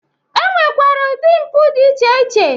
E nwekwere ụdị mpụ dị iche iche.